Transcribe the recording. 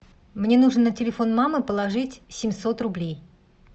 мне нужно на телефон мамы положить семьсот рублей